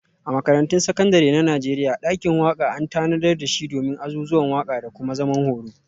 A Makarantun Sakandare na Najeriya, dakin waka an tanadar da shi domin azuzuwan waka da kuma zaman horo.